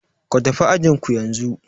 Ku tafi ajin ku yanzu!